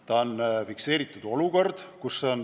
See on fikseeritud olukord.